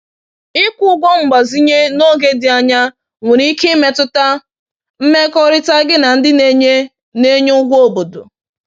Ịkwụ ụgwọ mgbazinye n’oge dị anya nwere ike imetụta mmekọrịta gị na ndị na-enye na-enye ụgwọ obodo